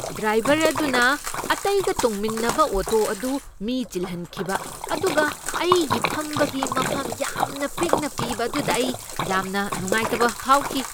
Driver ꯑꯗꯨꯅ ꯑꯇꯩꯒ ꯇꯣꯡꯃꯤꯟꯅꯕ ꯑꯣꯇꯣ ꯑꯗꯨ ꯃꯤ ꯆꯤꯜꯍꯟꯈꯤꯕ ꯑꯗꯨꯒ ꯑꯩꯒꯤ ꯐꯝꯕꯒꯤ ꯃꯐꯝ ꯌꯥꯝꯅ ꯄꯤꯛꯅ ꯄꯤꯕ ꯑꯗꯨꯗ ꯑꯩ ꯌꯥꯝꯅ ꯅꯨꯡꯉꯥꯏꯇꯕ ꯐꯥꯎꯈꯤ꯫